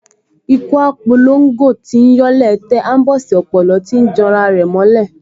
Ikú á p’olongo tíí yọ́ ilẹ̀ẹ́ tẹ̀, aḿbọ̀sí ọ̀pòlọ́ tíí janra rẹ̀ mọ́ ilẹ̀